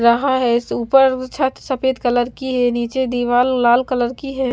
रहा है इस ऊपर छत सफेद कलर की है नीचे दीवाल लाल कलर की है।